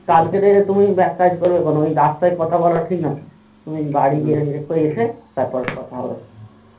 কালকে তে তুমি এককাজ করো ওই রাস্তায় কথা বলা ঠিক নয় তুমি বাড়ি গিয়ে এসে তারপর কথা হবে